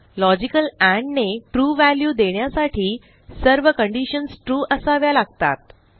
logical and ने true value देण्यासाठी सर्व कंडिशन्स ट्रू असाव्या लागतात